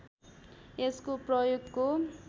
यसको प्रयोगको